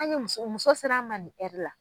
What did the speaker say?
An ye muso, muso sera an man ni hɛri la.